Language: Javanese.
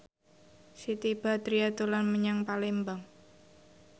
Siti Badriah dolan menyang Palembang